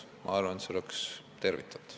Ma arvan, et see oleks tervitatav.